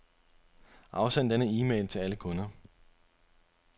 Afsend denne e-mail til alle kunder.